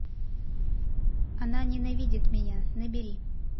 она ненавидит меня набери